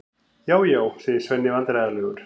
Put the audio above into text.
Já, já, segir Svenni vandræðalegur.